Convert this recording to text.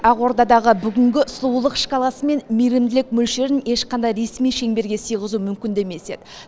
ақордадағы бүгінгі сұлулық шкаласы мен мейірімділік мөлшерін ешқандай ресми шеңберге сыйғызу мүмкін де емес еді